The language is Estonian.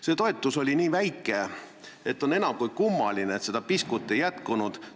See toetus oli nii väike, et on enam kui kummaline, et seda piskut ei jätkunud.